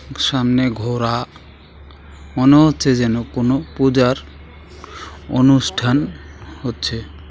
সামনে ঘোড়া মনে হচ্ছে যেন কোনো পূজার অনুষ্ঠান হচ্ছে।